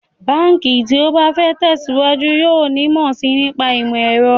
Báǹkì tí ó bá fẹ́ tẹ̀síwájú yóò nímọ̀ sí i nípa ìmọ̀ ẹ̀rọ